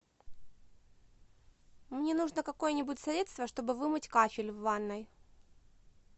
мне нужно какое нибудь средство чтобы вымыть кафель в ванной